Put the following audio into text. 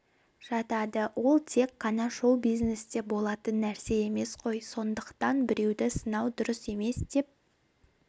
жатады ол тек қана шоу-бизнесте болатын нәрсе емес қой сондықтан біреуді сынау дұрыс емес деп